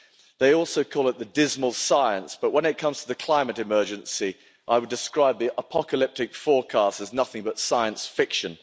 They also call it the dismal science, but when it comes to the climate emergency, I would describe the apocalyptic forecasts as nothing but science fiction.